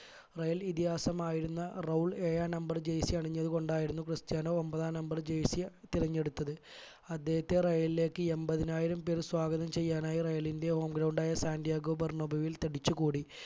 real ഇതിഹാസമായിരുന്ന Raul ഏഴാം number jersey അണിഞ്ഞത് കൊണ്ടായിരുന്നു ക്രിസ്ത്യാനോ ഒൻപതാം number jersey തിരഞ്ഞെടുത്തത് അദ്ദേഹത്തെ real ലേക്ക് എമ്പതിനായിരം പേർ സ്വാഗതം ചെയ്യാനായി real ന്റെ home ground ആയ സെന്റ്റിയഗോ ബെർണോബിയിൽ തടിച്ചു കൂടി